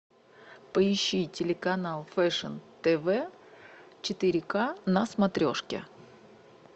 поищи телеканал фэшн тв четыре к на смотрешке